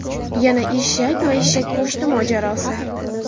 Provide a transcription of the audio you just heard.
Yana eshak va eshak go‘shti mojarosi.